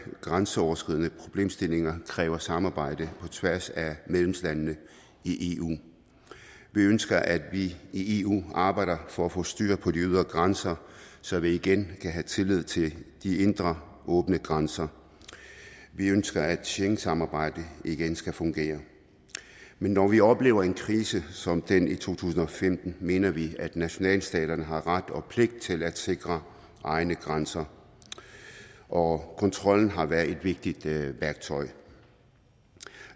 grænseoverskridende problemstillinger kræver samarbejde på tværs af medlemslandene i eu vi ønsker at vi i eu arbejder for at få styr på de ydre grænser så vi igen kan have tillid til de indre åbne grænser vi ønsker at schengensamarbejdet igen skal fungere men når vi oplever en krise som den i to tusind og femten mener vi at nationalstaterne har ret og pligt til at sikre egne grænser og kontrollen har været et vigtigt værktøj